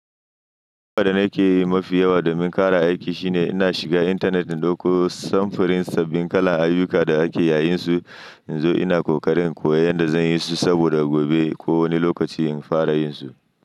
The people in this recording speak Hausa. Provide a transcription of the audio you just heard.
Abunda nake yi mafi yawa domin kara aiki shine ina shiga intanet in dauko sam furinsa sabbin kalan ayyuka da ake yayinsu inzo ina ƙoƙarin koya yanda zan yi su saboda gobe ko wani lokaci in fara yinsu.